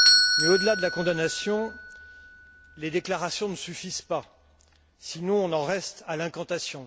Mais au delà de la condamnation, les déclarations ne suffisent pas, sinon on en reste à l'incantation.